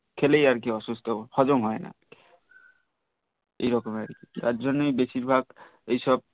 খেলেই আর কি অসুস্থ হজম হই না এইরকম আর কি তার জন্নই বেশিরভাগই এইসব